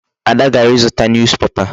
Ada gara ịzụta newspaper.